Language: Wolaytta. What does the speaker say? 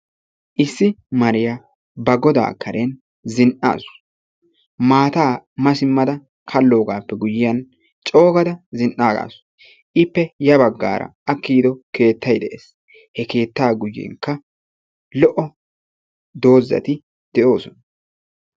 Issi mariya ba godaa karen zin'aasu. maata ma simmada kaloogappe guyyiyaan coo gaada zin''aagasu. he keetta karenkka lo''o doozati de'oosona.